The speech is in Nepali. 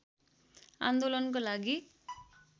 आन्दोलनको लागि